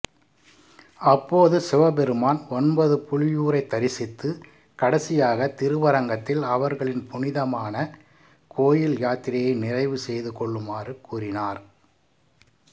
அப்போது சிவபெருமான் ஒன்பது புலியூரைத் தரிசித்து கடைசியாக திருவரங்கத்தில் அவர்களின் புனிதமான கோயில் யாத்திரையை நிறைவு செய்துகொள்ளுமாறுக் கூறினார்